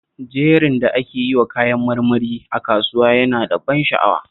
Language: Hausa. Jerin da ake yiwa kayan marmari a kasuwa yana da ban sha'awa